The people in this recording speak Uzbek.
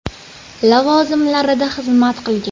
lavozimlarida xizmat qilgan.